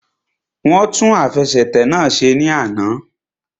Wọ́n tún àfẹsẹ̀tẹ̀ náà ṣe ní àná